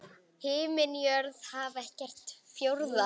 Himinn jörð haf er ekkert fjórða?